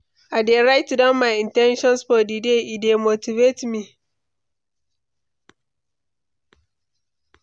I dey write down my in ten tions for the day; e dey motivate me.